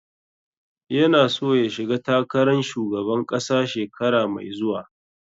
Ya na so ya shiga takaran shugaban ƙasa shekara mai zuwa.